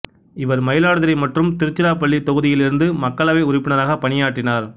இவர் மயிலாடுதுறை மற்றும் திருச்சிராப்பள்ளி தொகுதியிலிருந்து மக்களவை உறுப்பினராக பணியாற்றினார்